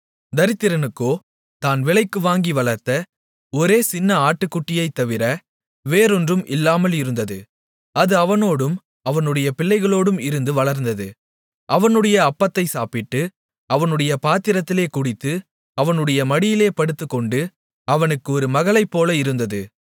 தரித்திரனுக்கோ தான் விலைக்கு வாங்கி வளர்த்த ஒரே ஒரு சின்ன ஆட்டுக்குட்டியைத்தவிர வேறொன்றும் இல்லாமல் இருந்தது அது அவனோடும் அவனுடைய பிள்ளைகளோடும் இருந்து வளர்ந்து அவனுடைய அப்பத்தை சாப்பிட்டு அவனுடைய பாத்திரத்திலே குடித்து அவனுடைய மடியிலே படுத்துக்கொண்டு அவனுக்கு ஒரு மகளைப்போல இருந்தது